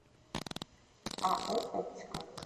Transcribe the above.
ао оптика